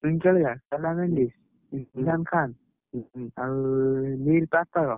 ଚୁଇଁ କାଳିଆ, କାଲାମେନଡ଼ିସ, ରିହାନ ଖାନ ଆଉ ନୀର ପାର୍କର।